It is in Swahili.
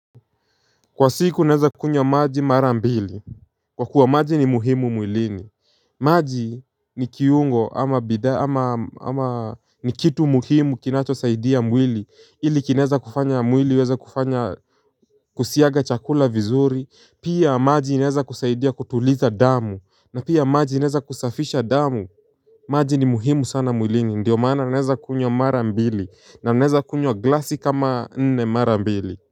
Kwa siku naweza kunywa maji mara mbili. Kwa kuwa maji ni muhimu mwilini. Maji ni kiungo ama bidhaa ama ama ni kitu muhimu kinachosaidia mwili ili kinaeza kufanya mwili iweze kufanya kusiaga chakula vizuri. Pia maji inaeza kusaidia kutuliza damu na pia maji inaeza kusafisha damu. Maji ni muhimu sana mwilini ndio maana naweza kunywa mara mbili. Naeza kunywa glasi kama nne mara mbili.